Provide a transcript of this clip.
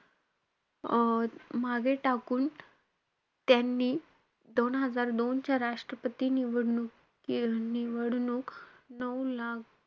अं मागे टाकून त्यांनी दोन हजार दोनच्या राष्ट्रपती निवडणुकी~ निवडणूक नऊ लाख,